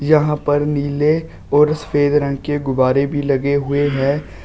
यहां पर नीले और सफेद रंग के गुब्बारे भी लगे हुए हैं।